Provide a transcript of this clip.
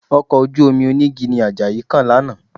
Ọkọ̀ ojú-omi onígi ni Àjàyí kàn lánàá